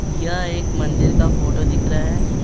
यह एक मंदिर का फोटो दिख रहा है।